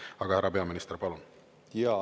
Aga härra peaminister, palun!